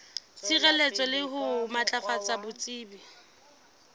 sireletsa le ho matlafatsa botsebi